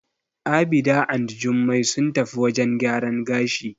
Abida and Jummai sun tafi wajen gyaran gashi.